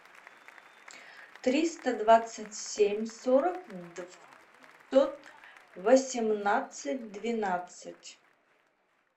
триста двадцать семь сорок два пятьсот восемнадцать двенадцать